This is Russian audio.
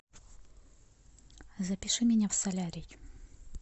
запиши меня в солярий